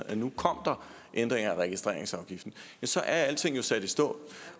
at nu kom der ændringer af registreringsafgiften så er alting jo sat i stå